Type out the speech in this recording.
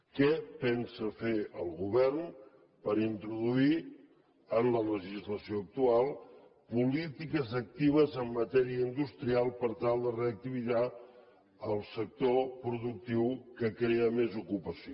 què pensa fer el govern per introduir en la legislació actual polítiques actives en matèria industrial per tal de reactivar el sector productiu que crea més ocupació